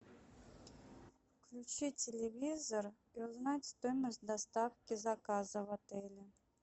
включи телевизор и узнать стоимость доставки заказа в отеле